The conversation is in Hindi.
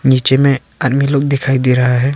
नीचे में आदमी लोग दिखाई दे रहा है।